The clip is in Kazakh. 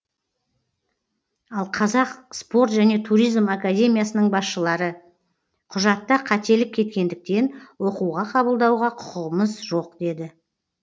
ал қазақ спорт және туризм академиясының басшылары құжатта қателік кеткендіктен оқуға қабылдауға құқығымыз жоқ деді